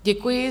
Děkuji.